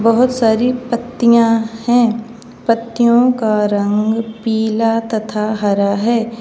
बहोत सारी पत्तियां हैं पत्तियों का रंग पीला तथा हरा है।